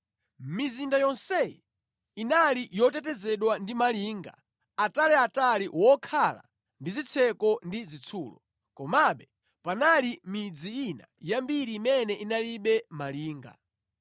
Mizinda yonseyi inali yotetezedwa ndi malinga ataliatali wokhala ndi zitseko ndi zitsulo, komabe panali midzi ina yambiri imene inalibe malinga.